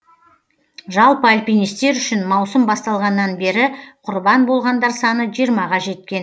жалпы альпинистер үшін маусым басталғаннан бері құрбан болғандар саны жиырмаға жеткен